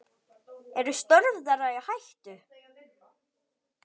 Eru störf þeirra í hættu?